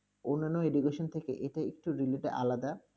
অন্যান্য education থেকে এটা একটু আলাদা,